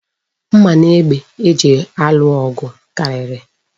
Mma na egbe eji alụ ọgụ karịrị.